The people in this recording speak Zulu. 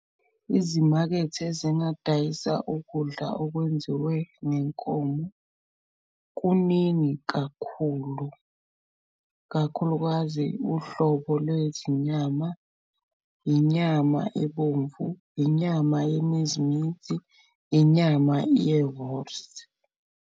Izimakethe ezingadayisa ukudla okwenziwe ngenkomo kuningi kakhulu, kakhulukazi uhlobo lwezinyama, inyama ebomvu, inyama yeminzi mithi, inyama ye-wors.